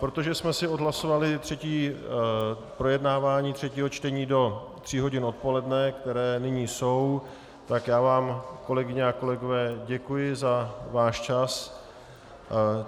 Protože jsme si odhlasovali projednávání třetího čtení do tří hodin odpoledne, které nyní jsou, tak já vám, kolegyně a kolegové, děkuji za váš čas.